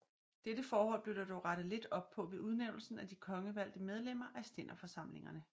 Dette forhold blev der dog rettet lidt op på ved udnævnelsen af de kongevalgte medlemmer af stænderforsamlingerne